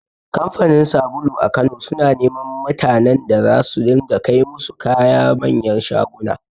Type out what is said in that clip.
Kamfanin sabulu a Kano suna neman mutanen da za su ringa kai musu kaya manyan shaguna.